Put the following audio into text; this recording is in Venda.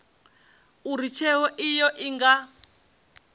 uri tsheo iyo i nga